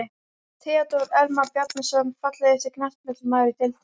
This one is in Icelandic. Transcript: Theodór Elmar Bjarnason Fallegasti knattspyrnumaðurinn í deildinni?